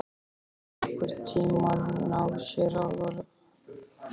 Skyldi hann nokkurn tíma ná sér alveg?